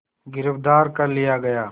गिरफ़्तार कर लिया गया